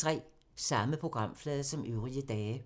Samme programflade som øvrige dage